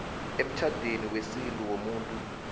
emtjhadweni wesintu womuntu